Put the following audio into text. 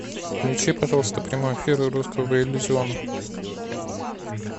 включи пожалуйста прямой эфир русского иллюзиона